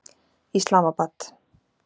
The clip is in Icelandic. Islamabad